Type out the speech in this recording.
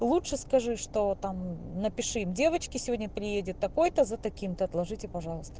лучше скажи что там напиши девочки сегодня приедет такой-то за таким-то отложите пожалуйста